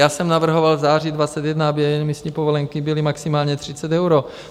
Já jsem navrhoval v září 2021, aby emisní povolenky byly maximálně 30 eur.